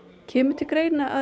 kemur til greina